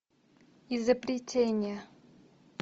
изобретение